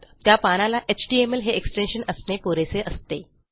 त्या पानाला एचटीएमएल हे एक्सटेन्शन असणे पुरेसे असते